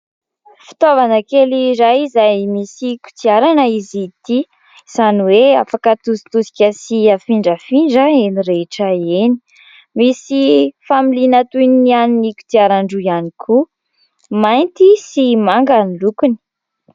Fitaovana kely iray izay misy kodiarana izy ity izany hoe afaka atositosika sy afindrafindra eny rehetra eny. Misy familiana toy ny an'ny kodiaran-droa ihany koa. Mainty sy manga ny lokony.